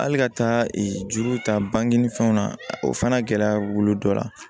Hali ka taa juru ta bange ni fɛnw na o fana gɛlɛya b'olu dɔ la